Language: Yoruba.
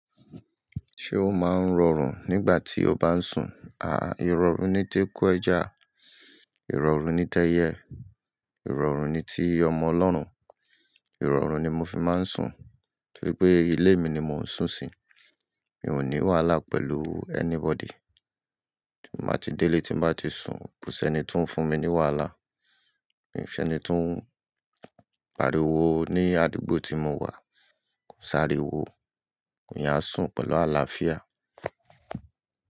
Ṣé o máa ń rọrùn nígbà tí o bá ń sùn? Ìrọ̀rùn ni tí eku ẹja, ìrọ̀rùn ni tẹ́yẹ́, ìrọ̀rùn ni ti ọmọ Ọlọ́run. Ìrọ̀rùn ni mo fi máa ń sùn. Bí i pé ilé mi ni mò ń sùn sí, mi ò ní wàhálà pẹ̀lú anybody. Tí n bá ti délé tí n bá ti sùn, kò sí ẹni to ń fún mi ní wàhálà. Mi ò fe ẹni to ń pariwo ní àdúgbò tí mo wà, kò sári wo. Èèyàn a sùn pẹ̀lú àlàáfíà.